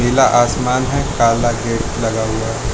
नीला आसमान है काला गेट लगा हुआ है।